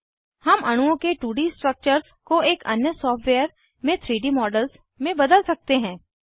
हम अणुओं के 2डी स्ट्रक्चर्स को एक अन्य सॉफ्टवेयर में 3डी मॉडल्स में बदल सकते हैं